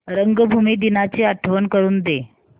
रंगभूमी दिनाची आठवण करून दे